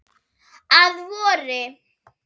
Að vori.